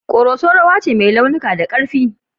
Koroso rawa ce mai launuka da karfi.